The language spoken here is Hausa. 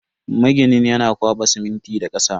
Maginin yana kwaba siminti da kasa.